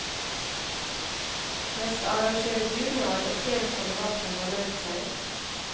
Jeg skal arrangere dugnad og flere kamerater har meldt seg.